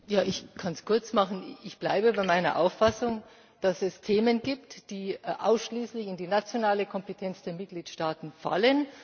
Ich kann es kurz machen Ich bleibe bei meiner Auffassung, dass es Themen gibt, die ausschließlich in die nationale Kompetenz der Mitgliedstaaten fallen.